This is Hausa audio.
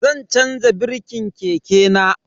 Zan chanza birkin keke na.